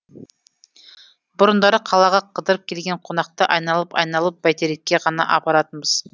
бұрындары қалаға қыдырып келген қонақты айналып айналып бәйтерекке ғана апаратынбыз